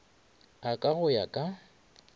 a ka go ya ka